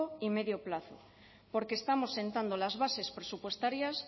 y medio plazo porque estamos sentando las bases presupuestarias